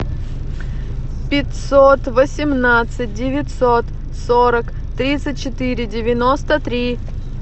пятьсот восемнадцать девятьсот сорок тридцать четыре девяносто три